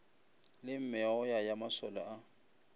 la meoya ya masole a